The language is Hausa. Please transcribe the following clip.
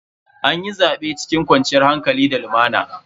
Anyi zaben cikin kwanciyar hankali da lumana.